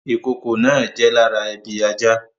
Ìkokò náà jẹ́ lára ebi ajá